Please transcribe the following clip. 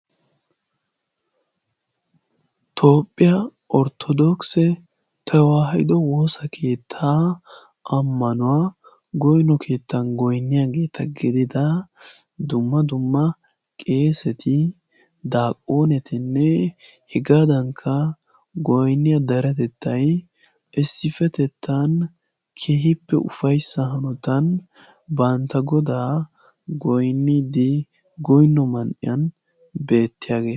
Toophphiyaa orttodookise ta waahido woosa keettaa ammanuwaa goyno keettan goynniyaageeta gedida dumma dumma qeeseti daaqqoonetinne hegaadankka goynniya daratettay issipetettan kehippe ufayssa hanotan bantta godaa goinnidi goinno man"iyan beettiyaageeta.